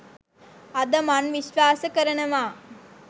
අද මන් විශ්වාස කරනවා.